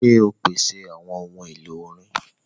Ṣe o pese awọn ohun elo orin!?